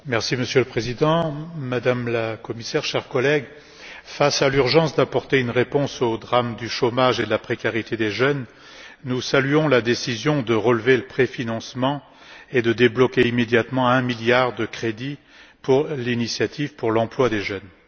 Monsieur le Président, Madame la Commissaire, chers collègues, face à l'urgence d'apporter une réponse au drame du chômage et de la précarité des jeunes, nous saluons la décision de relever le montant du préfinancement et de débloquer immédiatement un milliard d'euros de crédits pour l'initiative pour l'emploi des jeunes.